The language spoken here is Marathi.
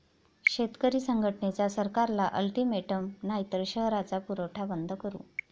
शेतकरी संघटनेचा सरकारला अल्टीमेटम, नाहीतर शहराचा पुरवठा बंद करू!